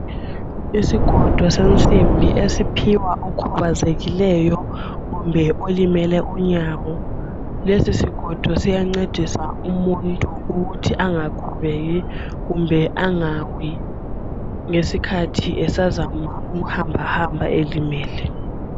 Isigodo sensimbi esiphiwa okhubazekileyo kumbe olimele unyawo. Lesi sigodo siyancedisa umuntu ukuthi angakhubeki kumbe angawi ngesikhathi esazama ukuhambahamba elimele.